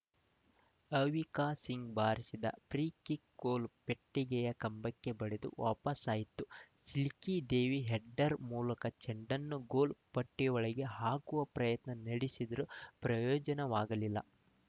ಅವಿಕಾ ಸಿಂಗ್‌ ಬಾರಿಸಿದ free kick goal ಪೆಟ್ಟಿಗೆಯ ಕಂಬಕ್ಕೆ ಬಡಿದು ವಾಪಸಾಯಿತು ಶಿಲ್ಕಿ ದೇವಿ ಹೆಡ್ಡರ್‌ ಮೂಲಕ ಚೆಂಡನ್ನು ಗೋಲು ಪೆಟ್ಟಿಗೆಯೊಳಗೆ ಹಾಕುವ ಯತ್ನ ನಡೆಸಿದರೂ ಪ್ರಯೋಜನವಾಗಲಿಲ್ಲ